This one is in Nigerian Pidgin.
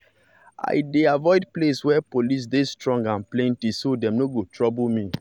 i dey avoid place wey police dey strong and plenty so dem no go trouble me.